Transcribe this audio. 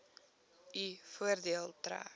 u voordeel trek